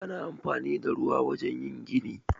Ana anfani da ruwa a wajen yin gini.